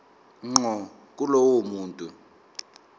ngqo kulowo muntu